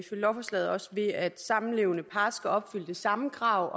lovforslaget ved at samlevende par skal opfylde det samme krav